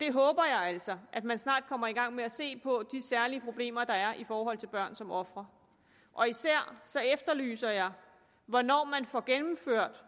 håber altså at man snart kommer i gang med at se på de særlige problemer der er i forhold til børn som ofre og især efterlyser jeg hvornår man får gennemført